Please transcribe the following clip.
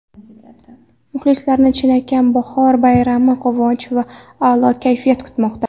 Muxlislarni chinakam bahor bayrami, quvonch va a’lo kayfiyat kutmoqda!